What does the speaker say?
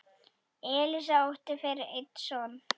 Elísa átti fyrir einn son.